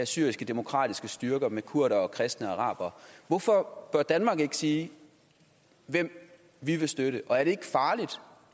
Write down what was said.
syriske demokratiske styrker med kurdere kristne og arabere hvorfor bør danmark ikke sige hvem vi vil støtte og er det